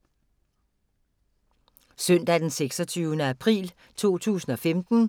Søndag d. 26. april 2015